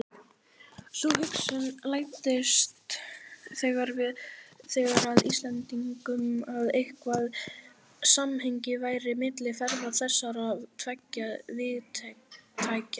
Sú hugsun læddist þegar að Íslendingum, að eitthvert samhengi væri milli ferða þessara tveggja vígtækja.